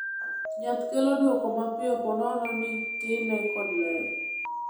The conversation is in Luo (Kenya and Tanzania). Nyath kelo dwoko mapiyo po nono ni time kanyakla kod ler.